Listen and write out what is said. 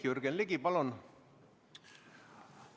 Jürgen Ligi, palun!